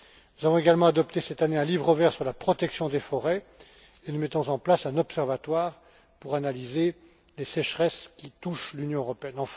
Nous avons également adopté cette année un livre vert sur la protection des forêts, et nous mettons en place un observatoire pour analyser les sécheresses qui touchent l'Union européenne.